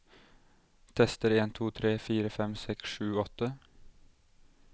Tester en to tre fire fem seks sju åtte